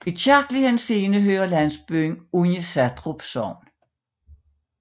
I kirkelig henseende hører landsbyen under Satrup Sogn